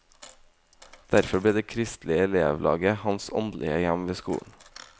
Derfor ble det kristelige elevlaget hans åndelige hjem ved skolen.